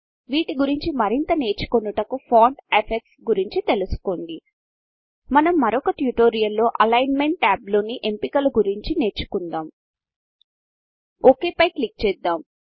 వీటి గురించి మరింత నేర్చుకొనుటకు ఫాంట్ Effectsఫాంట్ ఎఫెక్ట్స్ గురించి తెలుసుకోండి మనం మరొక ట్యుటోరియల్ లో అలిగ్న్మెంట్ టాబ్ లోని ఎంపికల గురించి నేర్చుకొందాం ఒక్ పై క్లిక్ చేద్దాం